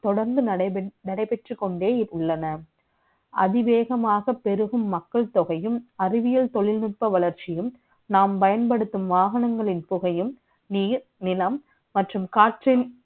தொடர்ந்து நடைபெற்றுக் கொண்டே உள்ளன அதிவேகமாக பெருக மக்கள் தொகையும் அறிவியல் தொழில்நுட்ப வளர்ச்சியும் நாம் பயன்படுத்தும் வாகனங்களின் குவையும் நீர் நீளம் மற்றும் காற்று தொடர்ந்து நடைபெற்றுக் கொண்டே உள்ளனர்